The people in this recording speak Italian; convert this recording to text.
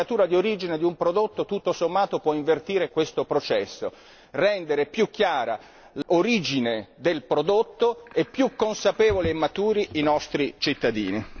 La marcatura di origine di un prodotto può, tutto sommato, invertire questo processo, rendere più chiara l'origine del prodotto e più consapevoli e maturi i nostri cittadini.